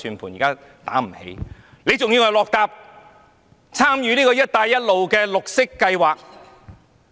為何政府還要參與"一帶一路"的綠色計劃呢？